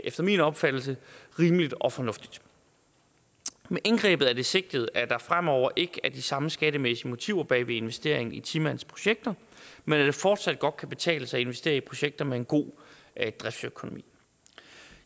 efter min opfattelse rimeligt og fornuftigt med indgrebet er det sigtet at der fremover ikke er de samme skattemæssige motiver bag ved investeringen i ti mandsprojekter men at det fortsat godt kan betale sig at investere i projekter med en god driftsøkonomi